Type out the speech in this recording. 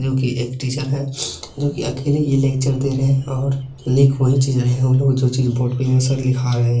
जोकि एक टीचर है जोकि अकेले ही लेक्चर दे रहे हैं और जोकि बोर्ड पर सब लिखा रहे हैं|